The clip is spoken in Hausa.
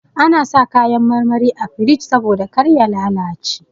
Ana sa kayan marmari a firij saboda kar ya lalace.